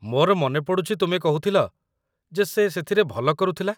ମୋର ମନେ ପଡ଼ୁଛି ତୁମେ କହୁଥିଲ ଯେ ସେ ସେଥିରେ ଭଲ କରୁଥିଲା।